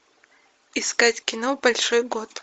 искать кино большой год